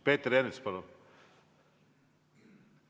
Peeter Ernits, palun!